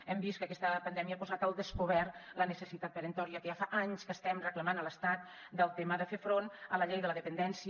hem vist que aquesta pandèmia ha posat al descobert la necessitat peremptòria que ja fa anys que estem reclamant a l’estat del tema de fer front a la llei de la dependència